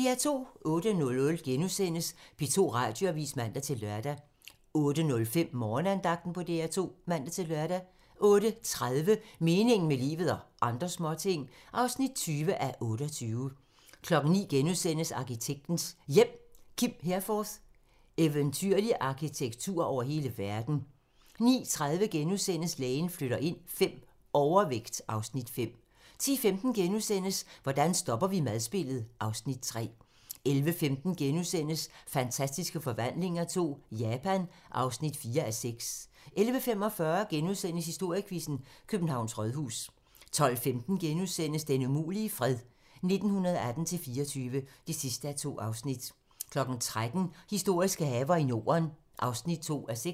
08:00: P2 Radioavis *(man-lør) 08:05: Morgenandagten på DR2 (man-lør) 08:30: Meningen med livet – og andre småting (20:28) 09:00: Arkitektens Hjem: Kim Herforth - "Eventyrlig arkitektur over hele verden". 09:30: Lægen flytter ind V - Overvægt (Afs. 5)* 10:15: Hvordan stopper vi madspildet? (Afs. 3)* 11:15: Fantastiske Forvandlinger II - Japan (4:6)* 11:45: Historiequizzen: Københavns Rådhus * 12:15: Den umulige fred - 1918-24 (2:2)* 13:00: Historiske haver i Norden (2:6)